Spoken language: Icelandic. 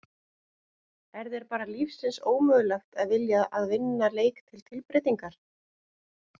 Er þér bara lífsins ómögulegt að vilja að vinna leik til tilbreytingar!?